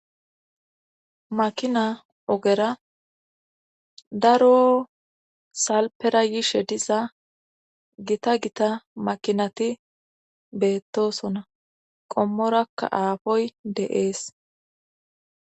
Makina ogera daro salpera yiishe diza gita gita makinati beettosona qommorakka aafoy deees.